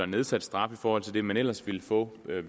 nedsat straf i forhold til den man ellers ville få ved